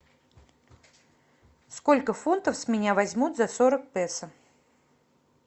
сколько фунтов с меня возьмут за сорок песо